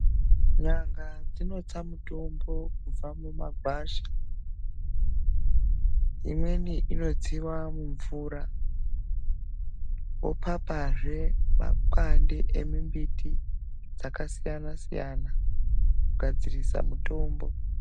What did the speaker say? N'anga dzinotsa mutombo kubva mumagwasha. Imweni inotsiwa mumvura vopapazve makwande emimbiti dzakasiyana-siyana kugadzirisa mutombo.